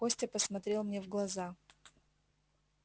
костя посмотрел мне в глаза